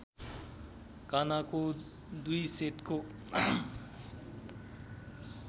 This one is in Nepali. कानाको दुई सेटको